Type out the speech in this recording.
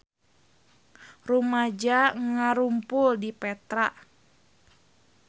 Rumaja ngarumpul di Petra